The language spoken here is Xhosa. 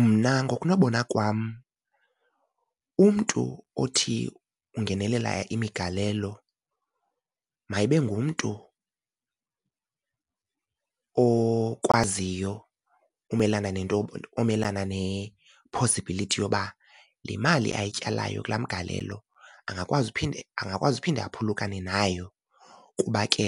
Mna ngokunobona kwam umntu othi ungenelela imigalelo mayibe ngumntu okwaziyo umelana nento omelana ne-possibility yoba le mali ayityalayo kulaa mgalelo angakwazi uphinde, angakwazi uphinde aphulukane nayo. Kuba ke